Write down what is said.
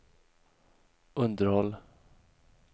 underhåll